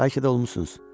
Bəlkə də olmusunuz.